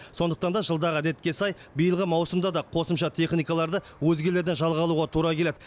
сондықтан да жылдағы әдетке сай биылғы маусымда да қосымша техникаларды өзгелерден жалға алуға тура келеді